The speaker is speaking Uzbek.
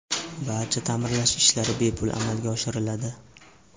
Barcha ta’mirlash ishlari bepul amalga oshiriladi.